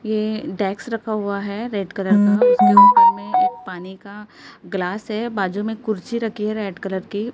ये डेस्क रखा हुआ है रेड कलर का उसके ऊपर में एक पानी का ग्लास है बाजू में कुर्सी रखी है रेड कलर की।